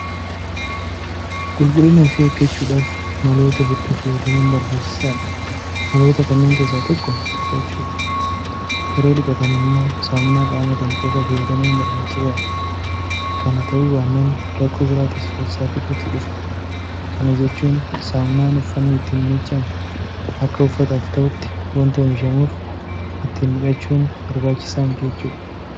Qulqullina ofii eeggachuudhaaf maloota hedduu fayyadamuun barbaachisaadha. Maloota kanneen keessaa tokko dhiqachuudha. Yeroo dhiqatan immoo saamunaa qaamaatiin qofa fayyadamuun barbaachisaadha. Kana ta'uu baannaan rakkoo biraatiif ofsaaxiluutu dhufa. Kana jechuun saamunaan uffanni ittiin miiccamu akka uffataaf ta'utti waanta oomishamuuf ittiin dhiqachuun barbaachisaa miti jechuudha.